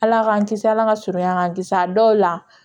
Ala k'an kisi ala ka surunya k'an kisi a dɔw la